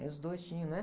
Eles dois tinham, né?